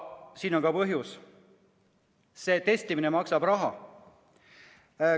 Sellel on põhjus: testimine maksab raha.